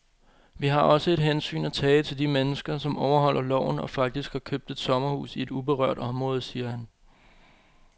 Vi har også et hensyn at tage til de mennesker, som overholder loven og faktisk har købt et sommerhus i et uberørt område, siger han.